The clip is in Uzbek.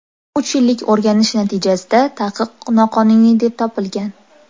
Uch yillik o‘rganish natijasida taqiq noqonuniy deb topilgan.